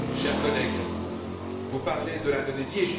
Chers collègues, vous parlez de l'Indonésie.